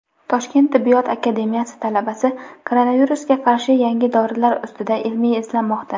Toshkent tibbiyot akademiyasi talabasi koronavirusga qarshi yangi dorilar ustida ilmiy izlanmoqda.